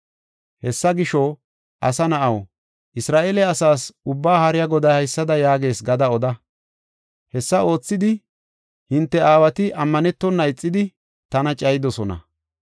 “Hessa gisho, asa na7aw, Isra7eele asaas, Ubbaa Haariya Goday haysada yaagees gada oda: hessa oothidi hinte aawati ammanetona ixidi tana cayidosona.